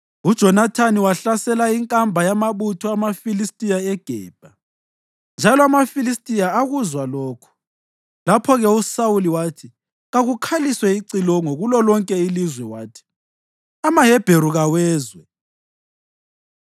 UJonathani wahlasela inkamba yamabutho amaFilistiya eGebha, njalo amaFilistiya akuzwa lokho. Lapho-ke uSawuli wathi kakukhaliswe icilongo kulolonke ilizwe wathi, “AmaHebheru kawezwe!”